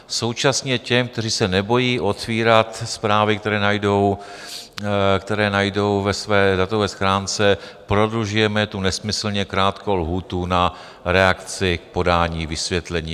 Současně těm, kteří se nebojí otvírat zprávy, které najdou ve své datové schránce, prodlužujeme tu nesmyslně krátkou lhůtu na reakci k podání vysvětlení.